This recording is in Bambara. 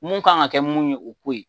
Mun kan ka kɛ mun ye o k'o ye.